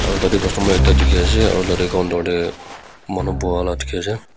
aro tatey customer ekta dikhiase aro tatey counter tey manu buha la dikhiase.